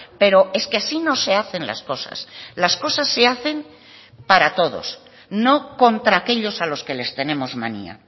pero es que así no se hacen las cosas las cosas se hacen para todos no contra aquellos a los que les tenemos manía